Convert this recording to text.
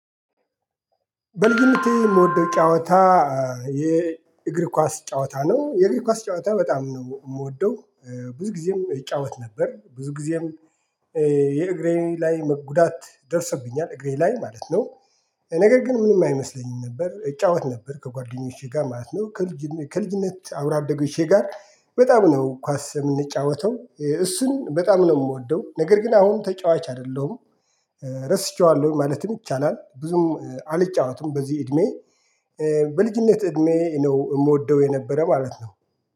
በልጅነቴ ምወደው ጨዋታ የእግር ኳስ ጨዋታ ነው የእግር ኳስ ጨዋታ በጣም ነው ምወደው። ብዙ ጊዜም እጫወት ነበር ብዙ ጊዜም። የእግሬ ላይ መጉዳት ደርሶብኛል እግሬ ላይ ማለት ነው። ነገር ግን ምንም አይመስለኝም ነበር እጫወት ነበር ከጓደኞቼ ጋር ማለት ነው። ከልጅነ ከልጅነት አብሮ አደጎቼ ጋር በጣም ነው ኳስ የምንጫወተው እሱን በጣም ነው ምወደው ነገር ግን አሁን ተጫዋች አይደለሁም። ረስቸዋለሁ ማለትም ይቻላል ብዙም አልጫወትም በዚህ እድሜ። በልጅነት እድሜ ነው እምወደው የነበረ ማለት ነው